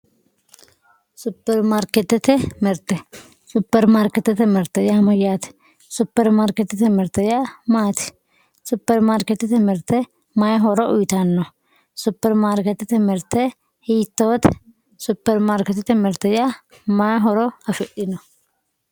Superimaarketete mirte, superimaarketete mirte yaa maati, superimaarketete mirte mayi horo uyittano, superimaarketete mirte hiittote ,superimaarketete mirte mayi horo afidhino